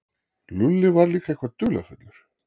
Lúlli var líka eitthvað dularfullur.